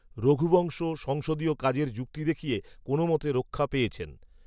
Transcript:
রঘুবংশ, সংসদীয় কাজের যুক্তি দেখিয়ে, কোনওমতে রক্ষা পেয়েছেন